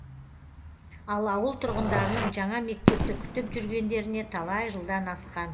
ал ауыл тұрғындарының жаңа мектепті күтіп жүргендеріне талай жылдан асқан